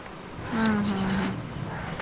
ಹ್ಮ್ ಹ್ಮ್.